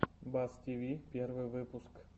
бас тв первый выпуск